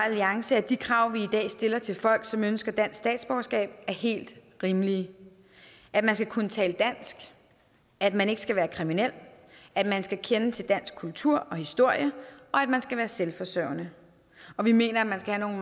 alliance at de krav vi i dag stiller til folk som ønsker dansk statsborgerskab er helt rimelige at man skal kunne tale dansk at man ikke skal være kriminel at man skal kende til dansk kultur og historie og at man skal være selvforsørgende og vi mener at man skal have